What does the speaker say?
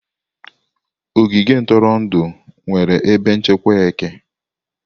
Ogige ntụrụndụ nwere ebe nchekwa eke.